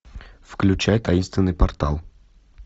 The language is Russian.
включай таинственный портал